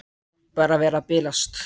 Hlýt bara að vera að bilast.